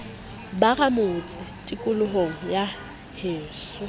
ba ramotse tikolohong ya heso